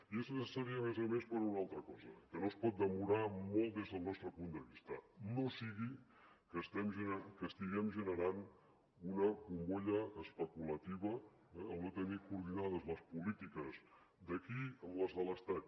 i és necessària a més a més per una altra cosa que no es pot demorar molt des del nostre punt de vista no sigui que estiguem generant una bombolla especulativa eh al no tenir coordinades les polítiques d’aquí amb les de l’estat